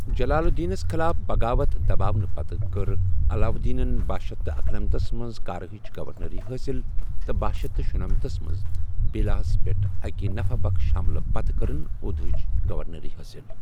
جلال الدینَس خٕلاف بغاوت دباونہٕ پتہٕ، کٔر علاؤالدینن بَہہ شیتھ اکَنمتھس منٛز کارا ہٕچ گورنری حٲصِل تہٕ بَہہ شیتھ شُنمنتھس منٛزبھیلساہَس پٮ۪ٹھ اکہِ نفع بخش ہملہٕ پتہٕ كٕرن اودھٕٕچہِ گورنری حٲصِل۔